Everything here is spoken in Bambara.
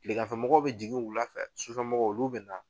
Tileganfɛmɔgɔw bɛ jigin wula fɛ sufɛmɔgɔw olu bɛ na.